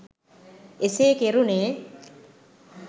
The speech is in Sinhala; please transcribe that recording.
එසේ කෙරුනේ